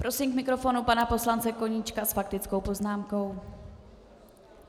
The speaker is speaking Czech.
Prosím k mikrofonu pana poslance Koníčka s faktickou poznámkou.